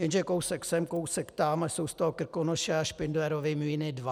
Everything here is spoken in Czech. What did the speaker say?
Jenže kousek sem, kousek tam, a jsou z toho Krkonoše a Špindlerovy Mlýny dva.